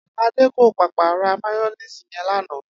Adé kò pàpà ra máyó̩néèsì ye̩n lánàá